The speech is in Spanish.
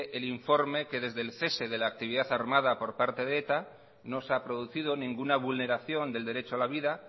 el informe que desde el cese de la actividad armada por parte de eta no se ha producido ninguna vulneración del derecho a la vida